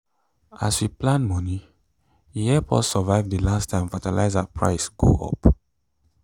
as we plan moni e help us survive the last time fertilizer price go up.